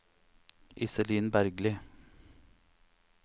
Iselin Bergli